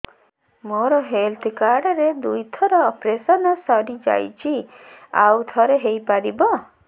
ମୋର health card ରେ ଦୁଇ ଥର ଅପେରସନ ସାରି ଯାଇଛି ଆଉ ଥର ହେଇପାରିବ